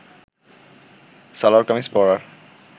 সালোয়ার কামিজ পরার